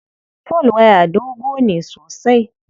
Folwaya dogo ne sosai.